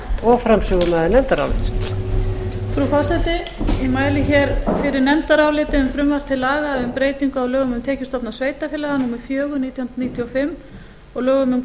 frú forseti ég mæli fyrir nefndaráliti um frumvarp til laga um breyting á lögum um tekjustofna sveitarfélaga númer fjögur nítján hundruð níutíu og fimm og lögum um